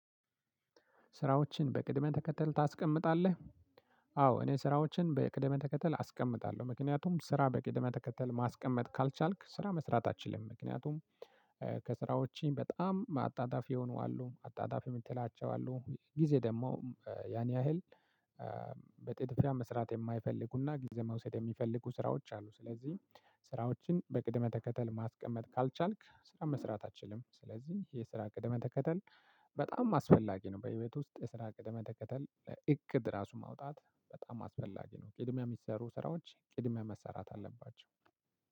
ስራዎችን በቅደም ተከተል ታስቀምጣለህ? አዎ አዎ እኔ ስራዎችን በቅደም ተከተል አስቀምጣለሁ ምክንያቱም ስራ በቅደም ተከተል ማስቀመጥ ካልቻልክ ስራ መስራት አትችልም። ምክንያቱም ከስራዎቼ በጣም አጣዳፊ የሆኑ አሉ አጣዳፊ የምትላቸው አሉ። ጊዜ ደግሞ ያን ያህል በጥድፊያ መስራት የማይፈልጉና ጊዜ መውሰድ የሚፈልጉ ስራዎች አሉ። ስለዚህ ስራዎችን በቅደም ተከተል ማስቀመጥ ካልቻልክ ስራ መስራት አትችልም ስለዚህ የስራ ቅደም ተከተል በጣም አስፈላጊ ነው። በህይወት ውስጥ የስራ ቅደም ተከተል እቅድ ራሱ ማውጣት በጣም አስፈላጊ ነው። ቅድሚያ የሚሰሩ ስራዎች ቅድሚያ መሰራት አለባቸው።